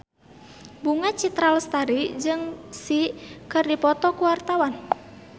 Bunga Citra Lestari jeung Psy keur dipoto ku wartawan